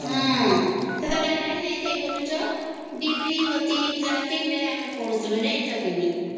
ହ ହଁ ସେତେବେଳେ ଲାଇନ ନାହିଁ ଥାଇ ବୋଲୁଛ ଡିବିରୀ ବତୀ ଳନଟିନ ରେ ଆମେ ପଡ଼ିଛୁ ଜାଣିଛ କି ନାଇଁ